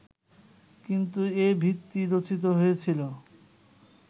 কিন্তু এর ভিত্তি রচিত হয়েছিলো